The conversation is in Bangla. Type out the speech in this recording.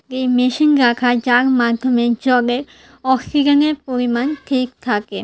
এই মেশিন রাখা আছে যার মাধ্যমে জগে অক্সিজেনের পরিমাণ ঠিক থাকে।